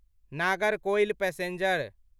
Nagercoil passenger